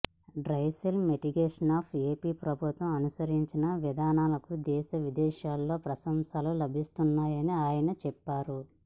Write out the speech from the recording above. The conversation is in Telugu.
డ్రైస్పెల్ మిటిగేషన్పై ఏపి ప్రభుత్వం అనుసరించిన విధానాలకు దేశ విదేశాల్లో ప్రశంసలు లభిస్తున్నాయని ఆయన చెప్పారు